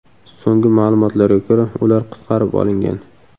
So‘nggi ma’lumotlarga ko‘ra, ular qutqarib olingan.